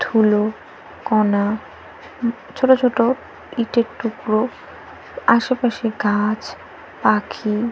ধুলো কণা ছোট ছোট ইটের টুকরো আশেপাশে গাছ পাখি --